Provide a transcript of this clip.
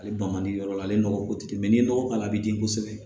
Ale ban man di yɔrɔ la ale nɔgɔko tɛ n'i ye nɔgɔ k'a la a bɛ di kosɛbɛ